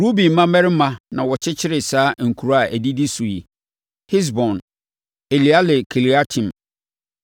Ruben mmammarima na wɔkyekyeree saa nkuro a ɛdidi so yi: Hesbon, Eleale Kiriataim,